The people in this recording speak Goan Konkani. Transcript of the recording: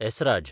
एसराज